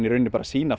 sýna